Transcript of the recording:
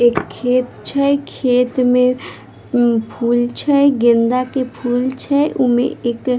एक खेत छै खेत मे फूल छै गेंदा के फूल छै उमे एक --